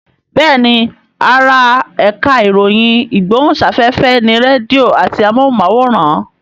Bẹ́ẹ̀ni ara ẹ̀ka ìròyìn ìgbóhùnsáfẹ́fẹ́ ni rédíò àti amóhùnmáwòrán